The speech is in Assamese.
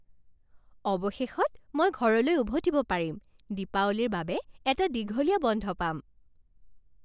অৱশেষত মই ঘৰলৈ উভতিব পাৰিম। দীপাৱলীৰ বাবে এটা দীঘলীয়া বন্ধ পাম।